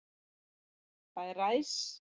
Það er ræs.